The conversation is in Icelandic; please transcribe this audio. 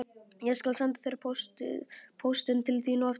Ég skal senda póstinn til þín á eftir